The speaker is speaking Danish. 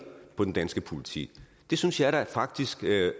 den danske politik det synes jeg faktisk